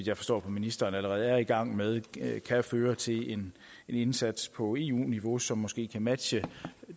jeg forstår på ministeren allerede er i gang med kan føre til en indsats på eu niveau som måske kan matche